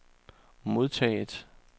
modtaget